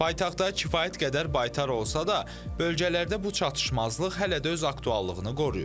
Paytaxtda kifayət qədər baytar olsa da, bölgələrdə bu çatışmazlıq hələ də öz aktuallığını qoruyur.